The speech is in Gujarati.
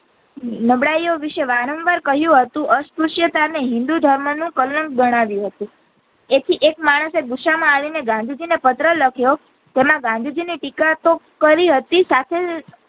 નબળાઈઓ વિશે વારંવાર કહીંયુ હતું અપૂશીયતા ને હિન્દૂ ધર્મ નો કલંક ગણાવિયો હતો તેથી એક માણસે ગુસ્સા માં આવી ને ગાંધીજી ને પત્ર લખિયો તેમાં ગાંધીજી ની ટીકા તો કરી હતી સાથે જ